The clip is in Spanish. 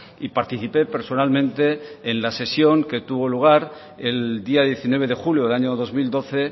y participé personalmente en la sesión que tuvo lugar el día diecinueve de julio del año dos mil doce